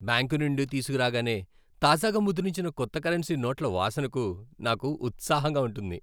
Bank నుండి తీసుకురాగానే తాజాగా ముద్రించిన కొత్త కరెన్సీ నోట్ల వాసనకు నాకు ఉత్సాహంగా ఉంటుంది.